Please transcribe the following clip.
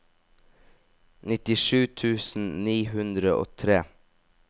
nittisju tusen ni hundre og tre